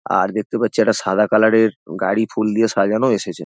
আর দেখতে পাচ্ছি একটা সাদা কালার এর গাড়ি ফুল দিয়ে সাজানো এসেছে।